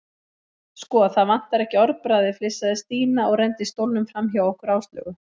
Sko, það vantar ekki orðbragðið flissaði Stína og renndi stólnum framhjá okkur Áslaugu.